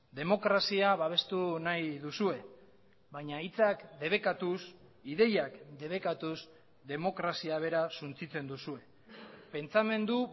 demokrazia babestu nahi duzue baina hitzak debekatuz ideiak debekatuz demokrazia bera suntsitzen duzue pentsamendu